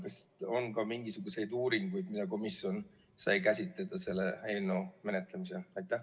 Kas on ka mingisuguseid uuringuid, mida komisjon sai käsitleda selle eelnõu menetlemisel?